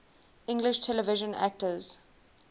english television actors